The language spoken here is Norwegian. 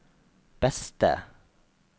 beste